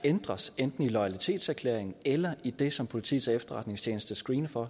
ændres enten i loyalitetserklæringen eller i det som politiets efterretningstjeneste screener for